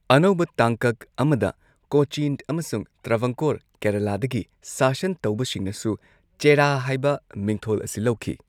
ꯑꯅꯧꯕ ꯇꯥꯡꯀꯛ ꯑꯃꯗ ꯀꯣꯆꯤꯟ ꯑꯃꯁꯨꯡ ꯇ꯭ꯔꯚꯟꯀꯣꯔ ꯀꯦꯔꯂꯗ ꯒꯤ ꯁꯥꯁꯟ ꯇꯧꯕꯁꯤꯡꯅꯁꯨ ꯆꯦꯔꯥ ꯍꯥꯏꯕ ꯃꯤꯡꯊꯣꯜ ꯑꯁꯤ ꯂꯧꯈꯤ꯫